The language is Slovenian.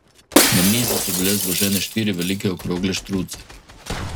Na mizi so bile zložene štiri velike okrogle štruce.